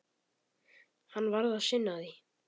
Hann varð að sinna því.